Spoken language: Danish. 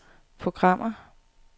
programmer